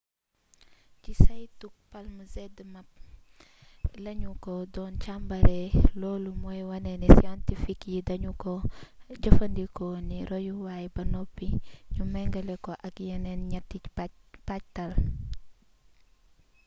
ci saytug palm zmapp la ñu ko doon càmbaree loolu mooy wane ni scientifique yi dañu ko jëfandikoo ni royuwaay ba noppi ñu mengale ko ak yeneen ñaati pajtal